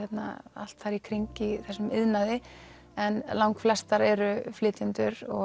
allt þar í kring í þessum iðnaði en langflestar eru flytjendur og